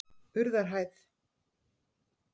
Urðarhæð